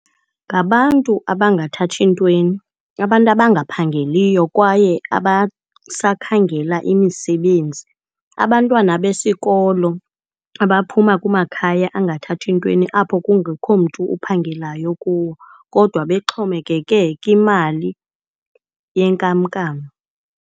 Ngabantu abangathathi ntweni, abantu abangaphangeliyo kwaye abasakhangela imisebenzi, abantwana besikolo abaphuma kumakhaya angathathi ntweni apho kungekho mntu uphangelayo kuwo kodwa bexhomekeke kwimali yenkamnkam.